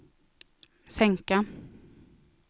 sänka